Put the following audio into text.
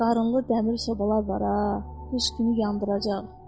Qarınlı dəmir sobalar var ha, qış günü yandıracaq.